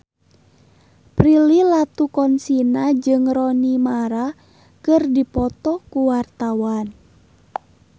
Prilly Latuconsina jeung Rooney Mara keur dipoto ku wartawan